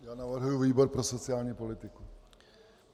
Já navrhuji výbor pro sociální politiku.